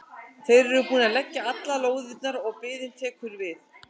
Þeir eru búnir að leggja allar lóðirnar og biðin tekur við.